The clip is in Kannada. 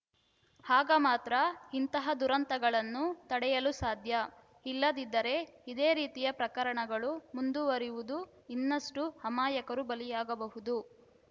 ಆಗ ಮಾತ್ರ ಇಂತಹ ದುರಂತಗಳನ್ನು ತಡೆಯಲು ಸಾಧ್ಯ ಇಲ್ಲದಿದ್ದರೆ ಇದೇ ರೀತಿಯ ಪ್ರಕರಣಗಳು ಮುಂದುವರಿದು ಇನ್ನಷ್ಟುಅಮಾಯಕರು ಬಲಿಯಾಗಬಹುದು